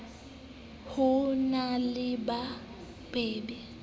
ho na le ba babe